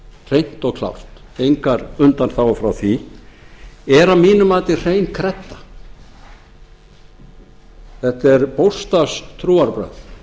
hreint og klárt engar undanþágur frá því er að mínu mati hrein kredda þetta er bókstafstrúarbrögð